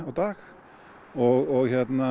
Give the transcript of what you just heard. dag og